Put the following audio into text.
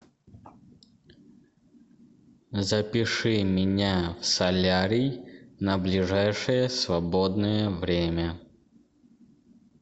запиши меня в солярий на ближайшее свободное время